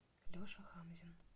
леша хамзин